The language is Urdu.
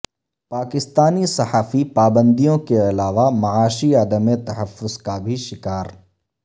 پاکستانی صحافی پابندیوں کے علاوہ معاشی عدم تحفظ کا بھی شکار